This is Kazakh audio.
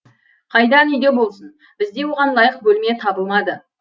қайдан үйде болсын бізде оған лайық бөлме табылмады